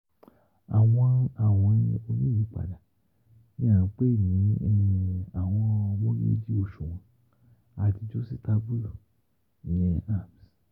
àwọn awin oniyipada ni à ń pè ní Awọn mogeji Oṣuwọn Adijositabulu ARMs